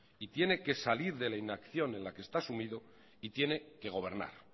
y tiene que salir de la inacción en la que está sumido y tiene que gobernar